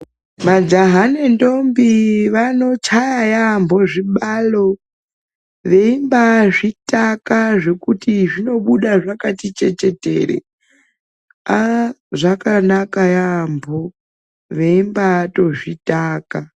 Majaha nendombii vanochaya yambo zvibalo, veimbazvitaka zvekuti zvinobuda zvakati chechetere aaa zvakanaka yaampho veimbaatozvitaka.